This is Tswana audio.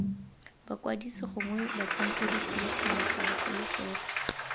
bakwadisi gongwe batlhankedikhuduthamaga bagolo fela